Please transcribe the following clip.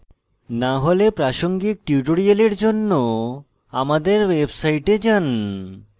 না হলে প্রাসঙ্গিক tutorials জন্য প্রদর্শিত আমাদের website যান